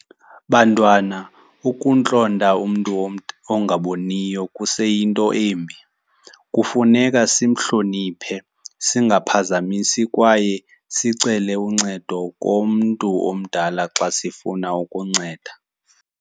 Bantwana, ukuntlonta umntu ongaboniyo kuseyinto embi. Kufuneka sihlomniphe, singaphazamisi kwaye sicele uncedo komntu omdala xa sifuna ukunceda.